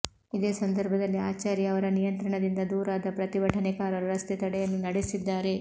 ಇದೇ ಸಂದರ್ಭದಲ್ಲಿ ಆಚಾರ್ಯ ಅವರ ನಿಯಂತ್ರಣದಿಂದ ದೂರಾದ ಪ್ರತಿಭಟನಕಾರರು ರಸ್ತೆ ತಡೆಯನ್ನೂ ನಡೆಸಿದ್ದಾರೆ